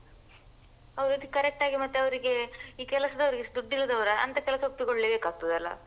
ಹೌದು ಅದು correct ಆಗಿ ಮತ್ತೆ ಅವ್ರಿಗೆ ಈ ಕೆಲಸದವ್ರು ದುಡ್ಡಿಲ್ಲದವ್ರ ಅಂತ ಕೆಲ್ಸ ಒಪ್ಪಿಕೊಳ್ಳೇ ಬೇಕಾಗ್ತದಲ್ಲ.